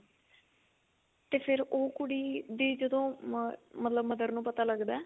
ਤੇ ਫਿਰ ਉਹ ਕੁੜੀ ਦੀ ਜਦੋਂ ਮਰ ਮਤਲਬ mother ਨੂੰ ਪਤਾ ਲਗਦਾ